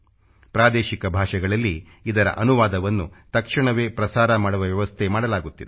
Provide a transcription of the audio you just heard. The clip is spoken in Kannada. ಪ್ರಾದೇಶಿಕ ಭಾಷೆಗಳಲ್ಲಿ ಇದರ ಅನುವಾದವನ್ನು ತಕ್ಷಣವೇ ಪ್ರಸಾರ ಮಾಡುವ ವ್ಯವಸ್ಥೆ ಮಾಡಲಾಗುತ್ತಿದೆ